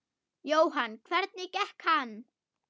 Jóhann: Hvernig gekk hann?